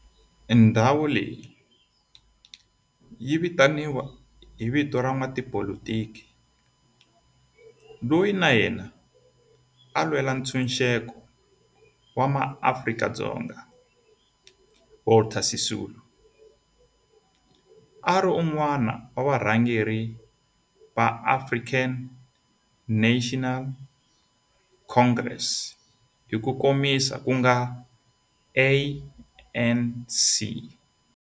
Ndhawo leyi yi vitaniwa hi vito ra n'watipolitiki loyi na yena a lwela ntshuxeko wa maAfrika-Dzonga Walter Sisulu, a ri wun'wana wa varhangeri va African National Congress hi ku komisa ku nga ANC.